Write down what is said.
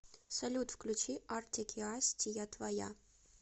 салют включи артик и асти я твоя